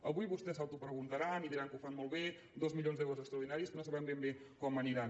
avui vostès s’autopreguntaran i diran que ho fan molt bé dos milions d’euros extraordinaris que no sabem ben bé com aniran